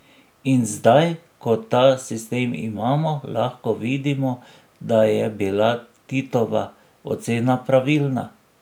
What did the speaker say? In zdaj, ko ta sistem imamo, lahko vidimo, da je bila Titova ocena pravilna.